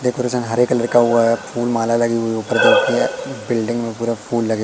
decoration हरे colour का हुआ है फूल माला लगी हुई है उपर देखिए बिल्डिंग में पूरा फुल लगे--